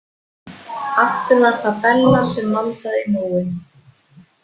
Aftur var það Bella sem maldaði í móinn.